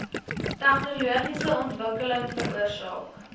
tegnologiese ontwikkeling veroorsaak